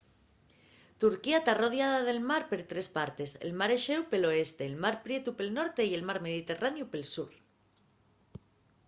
turquía ta arrodiada de mar per tres partes el mar exéu pel oeste el mar prietu pel norte y el mar mediterraneu pel sur